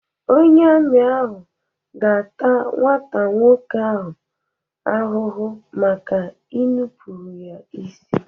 Onye ami ahụ ga-ata nwata nwoke ahụ ahụhụ maka inupụrụ ya isi.